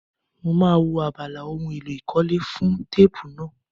Mo máa wo abala ohun èlò ìkọ́lé fún téèpù náà.